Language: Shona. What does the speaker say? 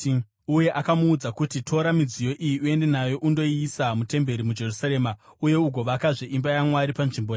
uye akamuudza kuti, ‘Tora midziyo iyi uende nayo undoiisa mutemberi muJerusarema, uye ugovakazve imba yaMwari panzvimbo yayo.’